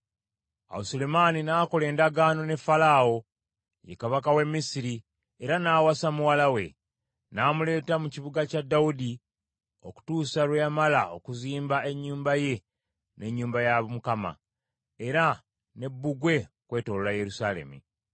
Awo Sulemaani n’akola endagaano ne Falaawo, ye kabaka w’e Misiri era n’awasa muwala we. N’amuleeta mu kibuga kya Dawudi okutuusa lwe yamala okuzimba ennyumba ye n’ennyumba ya Mukama , era ne bbugwe okwetooloola Yerusaalemi.